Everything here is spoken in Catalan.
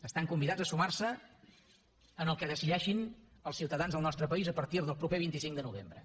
estan convidats a sumar se al que decideixin els ciutadans del nostre país a partir del proper vint cinc de novembre